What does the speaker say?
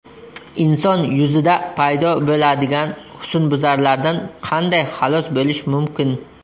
Inson yuzida paydo bo‘ladigan husnbuzarlardan qanday xalos bo‘lish mumkin?